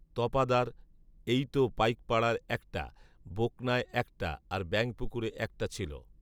তপাদার, এইতো পাইকপাড়ায় একটা, বোকনায় একটা, আর ব্যাঙপুকুরে একটা ছিল